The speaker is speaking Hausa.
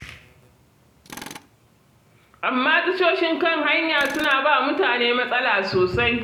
Amma tashoshin kan hanya suna ba wa mutane matsala sosai.